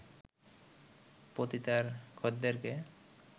পতিতার খদ্দেরকে